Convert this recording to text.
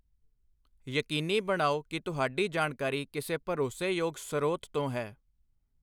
ਯਕੀਨੀ ਬਣਾਓ ਕਿ ਤੁਹਾਡੀ ਜਾਣਕਾਰੀ ਕਿਸੇ ਭਰੋਸੇਯੋਗ ਸਰੋਤ ਤੋਂ ਹੈ।